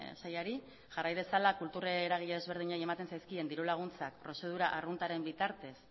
sailari jarrai dezala kultur eragile desberdinei ematen zaizkien diru laguntzak prozedura arruntaren bitartez